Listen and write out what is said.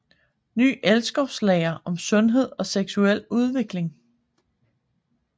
Ny elskovslære om sundhed og seksuel udvikling